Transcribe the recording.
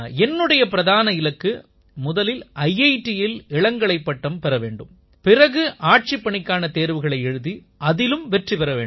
என்னுடைய பிரதான இலக்கு முதலில் ஐஐடியில் இளங்கலைப் பட்டம் பெற வேண்டும் பிறகு ஆட்சிப்பணிக்கான தேர்வுகளை எழுதி அதில் வெற்றி பெற வேண்டும்